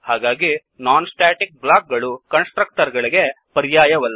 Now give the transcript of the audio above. ಹಾಗಾಗಿ non static block ಗಳು constructor ಗಳಿಗೆ ಪರ್ಯಾಯವಲ್ಲ